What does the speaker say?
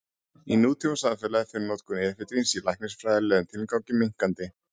Í nútímasamfélagi fer notkun efedríns í læknisfræðilegum tilgangi minnkandi.